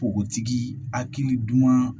Npogotigi hakili duman